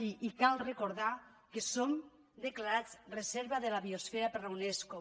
i cal recordar que som declarats reserva de la biosfera per la unesco